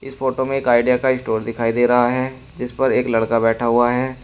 इस फोटो में एक ऑडिया का स्टोर दिखाई दे रहा है जिस पर एक लड़का बैठा हुआ है।